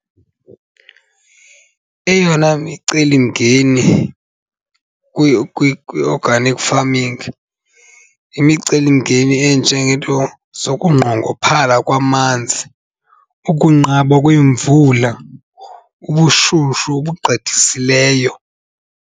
Eyona micelimngeni kwi-organic farming yimicelimngeni enjengeento zokunqongophala kwamanzi, ukunqaba kweemvula, ubushushu obugqithisileyo.